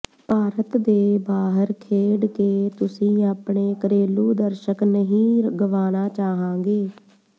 ਭਾਰਤ ਦੇ ਬਾਹਰ ਖੇਡਕੇ ਤੁਸੀ ਆਪਣੇ ਘਰੇਲੂ ਦਰਸ਼ਕ ਨਹੀਂ ਗਵਾਨਾ ਚਾਹਾਂਗੇ